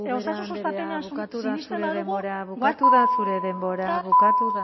asko ubera andrea bukatu da zure denbora bukatu da zure denbora bukatu